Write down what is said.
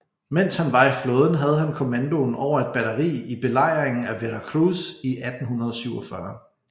Mens han var i flåden havde han kommandoen over et batteri i Belejringen af Veracruz i 1847